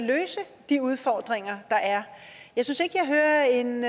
løse de udfordringer der er jeg synes ikke jeg hører en